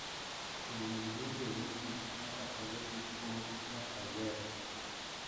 To weg nyinge mogik machakore gi O nyaka Z